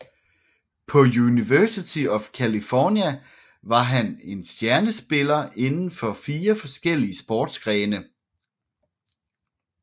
På University of California var han en stjernespiller inden for fire forskellige sportsgrene